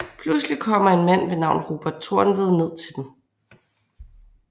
Pludseligt kommer en mand ved navn Robert Tornved ned til dem